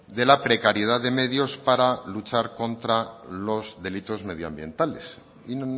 de la precariedad de medios para luchar contra los delitos medioambientales y